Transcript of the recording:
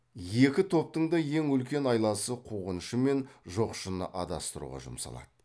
екі топтың да ең үлкен айласы қуғыншы мен жоқшыны адастыруға жұмсалады